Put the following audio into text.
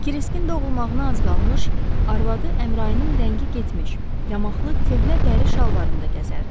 Kiriskin doğulmağına az qalmış, arvadı Əmrayinin rəngi getmiş, yamaqlı köhnə dəri şalvarında gəzərdi.